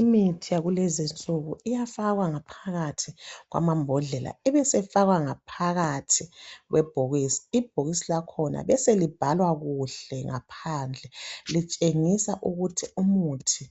Imithi yakulezi nsuku iyafakwa ngaphakathi kwamambodlela ibisifakwa ngaphakathi kwebhokisi, ibhokisi lakhona beselibhalwa kuhle ngaphandle likutshengise ukuthi umuthi